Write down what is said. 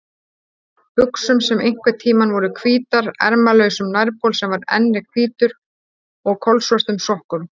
buxum sem einhverntíma voru hvítar, ermalausum nærbol sem enn er hvítur og kolsvörtum sokkum.